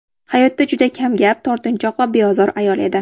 Hayotda juda kamgap, tortinchoq va beozor ayol edi.